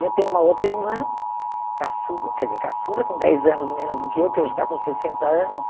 E eu tenho uma outra irmã, caçula, quer dizer, caçula com dez anos menos do que eu, que hoje está com sessenta anos.